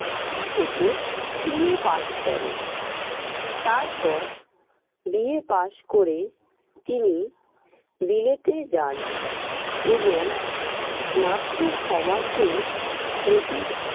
college থেকে BA pass করেন। তারপর BA pass করে তিনি বিলেতে যান এবং মাত্র ছ মাসে